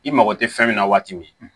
I mago tɛ fɛn min na waati min